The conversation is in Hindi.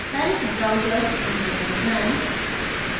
palette browser विंडो पर जाएँ